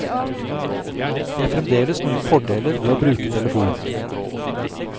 Det er fremdeles noen fordeler ved å bruke telefon.